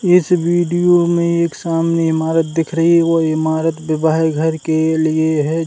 इस वीडियो में एक सामने की इमारत दिख रही है। वो इमारत विवाहित घर के लिए है।